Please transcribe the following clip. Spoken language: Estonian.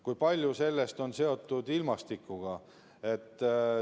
Kui palju sellest on seotud ilmastikuga?